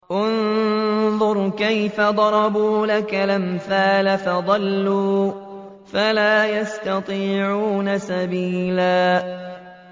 انظُرْ كَيْفَ ضَرَبُوا لَكَ الْأَمْثَالَ فَضَلُّوا فَلَا يَسْتَطِيعُونَ سَبِيلًا